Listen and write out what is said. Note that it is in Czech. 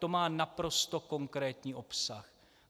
To má naprosto konkrétní obsah.